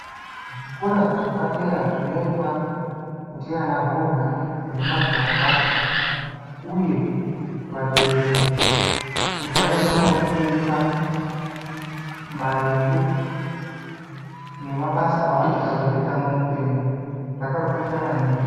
Zvikora zveapdera zvinoendwa ndiana hurwani nemajaya uye vabereki kuti vaende kunofundira maringe nemabasa avanoda kuzoita muupenyu zvakakosha maningi.